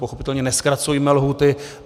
Pochopitelně nezkracujme lhůty.